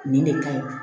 Nin de ka ɲi